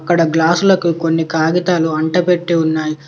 ఇక్కడ గ్లాసులకు కొన్ని కాగితాలు అంటపెట్టి ఉన్నాయ్.